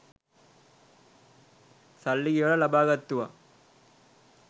සල්ලි ගෙවලා ලබා ගත්තුවා.